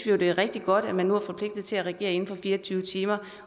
jo det er rigtig godt at man nu er forpligtet til at reagere inden for fire og tyve timer